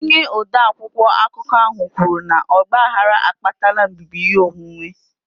Onye ode akwụkwọ akụkọ ahụ kwuru na ọgbaghara akpatala mbibi ihe onwunwe